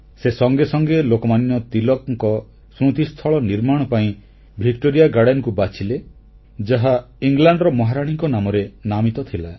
ସେ ସଙ୍ଗେ ସଙ୍ଗେ ଲୋକମାନ୍ୟ ତିଳକଙ୍କ ସ୍ମୃତିସ୍ଥଳ ନିର୍ମାଣ ପାଇଁ ଭିକ୍ଟୋରିଆ ଗାର୍ଡେନକୁ ବାଛିଲେ ଯାହା ଇଂଲଣ୍ଡର ମହାରାଣୀଙ୍କ ନାମରେ ନାମିତ ଥିଲା